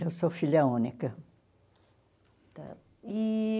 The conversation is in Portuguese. Eu sou filha única. Está e